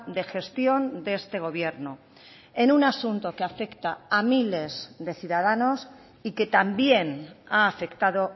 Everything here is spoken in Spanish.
de gestión de este gobierno en un asunto que afecta a miles de ciudadanos y que también ha afectado